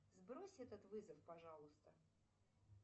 сбрось этот вызов пожалуйста